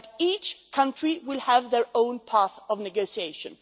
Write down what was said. But each country will have their own path of negotiation.